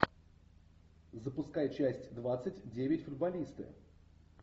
запускай часть двадцать девять футболисты